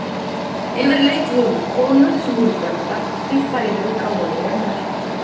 Yfirleitt voru það konur sem voru brenndar, því þær eru gáfaðri en karlmenn.